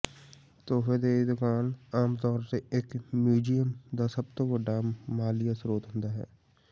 ਤੋਹਫ਼ੇ ਦੀ ਦੁਕਾਨ ਆਮਤੌਰ ਤੇ ਇੱਕ ਮਿਊਜ਼ੀਅਮ ਦਾ ਸਭ ਤੋਂ ਵੱਡਾ ਮਾਲੀਆ ਸਰੋਤ ਹੁੰਦਾ ਹੈ